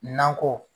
Nakɔ